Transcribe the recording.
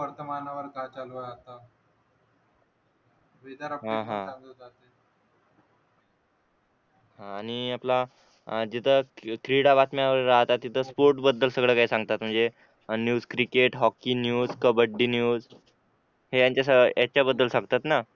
आणि आपला जिथं क्रीडा बातम्या राहतात तिथे स्पोर्ट बद्दल सगळं काही सांगतात म्हणजे on news cricket hockey news kabaddi news हे यांचा सह यांच्या बद्दल सांगतात ना